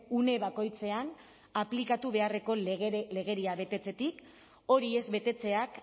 une bakoitzean aplikatu beharreko legeria betetzetik hori ez betetzeak